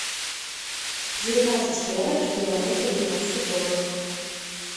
девятнадцать евро эквивалент в американских долларах